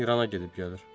İrana gedib gəlir.